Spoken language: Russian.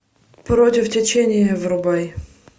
против течения врубай